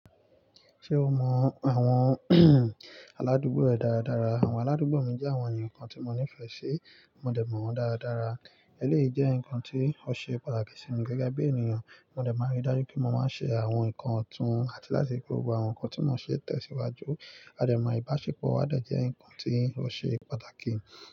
Ṣé o mọ àwọn aládùúgbò rẹ dára dára? Àwọn aládùúgbò mi jẹ́ àwọn ènìyàn kan tí mo nífẹ̀ẹ́ sí, mo dẹ̀ mọ̀ wọ́n dára dára. Eléyìí jẹ́ nǹkan tí ó ṣe pàtàkì sí mi gẹ́gẹ́ bí ènìyàn. Mo dẹ̀ máa ń rí dájú pé mo máa ń ṣe àwọn nǹkan ọ̀tún àti láti fi gbogbo àwọn nǹkan tí mo ṣe tẹ̀síwájú. A dẹ̀ máa ìbáṣepọ̀ wa dẹ̀ jẹ́ nǹkan tí ó ṣe pàtàkì.